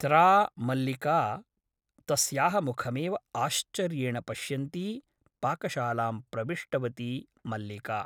त्रा मल्लिका तस्याः मुखमेव आश्चर्येण पश्यन्ती पाकशालां प्रविष्टवती मल्लिका ।